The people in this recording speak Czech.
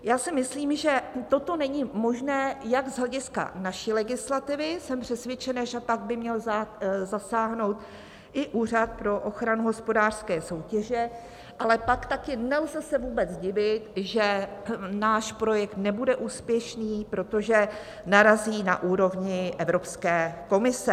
Já si myslím, že toto není možné jak z hlediska naší legislativy, jsem přesvědčena, že pak by měl zasáhnout i Úřad pro ochranu hospodářské soutěže, ale pak taky se nelze vůbec divit, že náš projekt nebude úspěšný, protože narazí na úrovni Evropské komise.